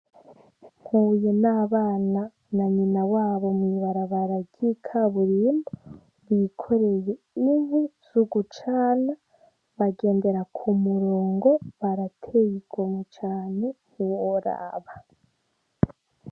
Mpuye n' abana na nyina wabo mwi barabara ry' ikaburimbo bikoreye inkwi zo gucana bagendera kumurongo barateye igomwe cane ntiworaba.